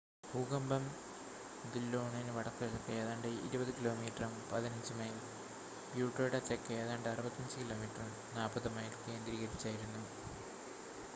ഭൂകമ്പം ദില്ലോണിന് വടക്കുകിഴക്ക് ഏതാണ്ട് 20 കിലോമീറ്ററും 15 മൈൽ ബ്യൂട്ടെയുടെ തെക്ക് ഏതാണ്ട് 65 കിലോമീറ്ററും 40 മൈൽ കേന്ദ്രീകരിച്ചായിരുന്നു